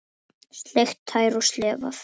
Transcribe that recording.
Sleikt tær og slefað.